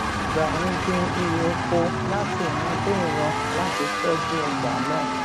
gbà ń gbin irè oko láti ìran dé ìran láti tójú ọgbà náà